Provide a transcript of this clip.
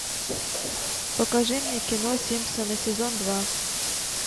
покажи мне кино симпсоны сезон два